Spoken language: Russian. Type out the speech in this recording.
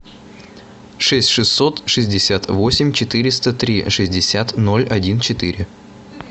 шесть шестьсот шестьдесят восемь четыреста три шестьдесят ноль один четыре